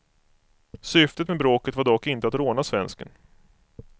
Syftet med bråket var dock inte att råna svensken.